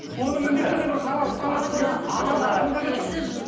оны міндетті түрде бір халал